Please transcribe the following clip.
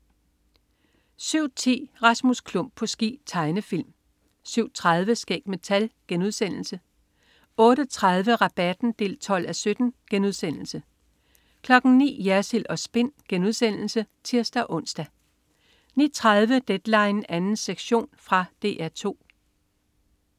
07.10 Rasmus Klump på ski. Tegnefilm 07.30 Skæg med tal* 08.30 Rabatten 12:17* 09.00 Jersild & Spin* (tirs-ons) 09.30 Deadline 2. sektion. Fra DR 2